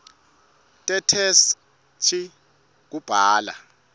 tetheksthi kubhala